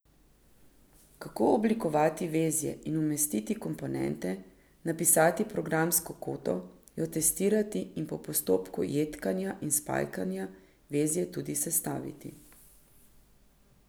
Kako oblikovati vezje in umestiti komponente, napisati programsko kodo, jo testirati in po postopku jedkanja in spajkanja vezje tudi sestaviti.